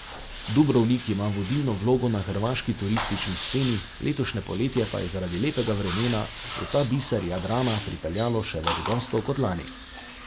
Dubrovnik ima vodilno vlogo na hrvaški turistični sceni, letošnje poletje pa je zaradi lepega vremena v ta biser Jadrana pripeljalo še več gostov kot lani.